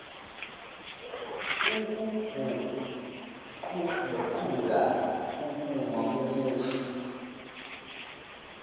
ukuguquguqula ukuma komusho